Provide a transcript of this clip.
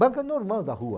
Banca normal da rua.